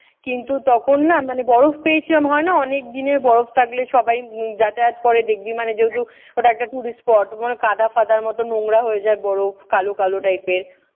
কিন্তু তখন না মানে বরফ হয় না অনেক দিনে বরফ থাকলে সবাই যাতায়াত করে দেখবি মানে যেহেতু ওটা একটা tourist spot ওখানে কাদা-ফাদার মতন নোংরা হয়ে যায় বরফ। কালো কালো type এর।